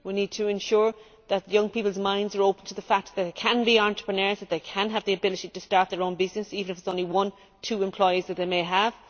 we need to ensure that young people's minds are open to the fact that they can be entrepreneurs and that they can have the ability to start their own business, even if it is only one or two employees that they may have.